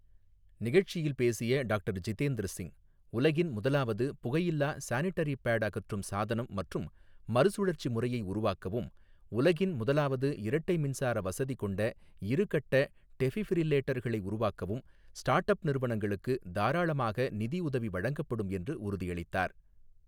நிகழ்ச்சியில் பேசிய டாக்டர் ஜிதேந்திர சிங், உலகின் முதலாவது புகையில்லா சானிடரி பேட் அகற்றும் சாதனம் மற்றும் மறுசுழற்சி முறையை உருவாக்கவும், உலகின் முதலாவது இரட்டை மின்சார வசதி கொண்ட இருகட்ட டெஃபிபிரில்லேட்டர்களை உருவாக்கவும், ஸ்டார்ட்அப் நிறுவனங்களுக்கு தாராளமாக நிதியுதவி வழங்கப்படும் என்று உறுதியளித்தார்.